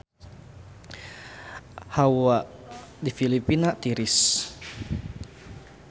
Hawa di Filipina tiris